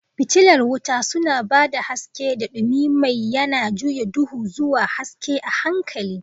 Fitilar wuta suna ba da haske, da dumi mai yana juya duhu zuwa haske a' hankali.